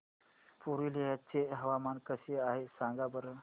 पुरुलिया चे हवामान कसे आहे सांगा बरं